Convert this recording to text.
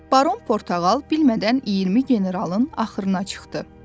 Baron Portağal bilmədən 20 generalın axırına çıxdı.